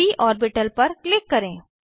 प ऑर्बिटल पर क्लिक करें